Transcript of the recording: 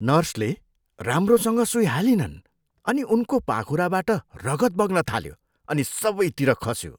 नर्सले सुई राम्रोसँग सुई हालिनन् अनि उनको पाखुराबाट रगत बग्न थाल्यो अनि सबैतिर खस्यो।